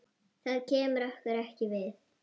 Það kemur okkur ekki við.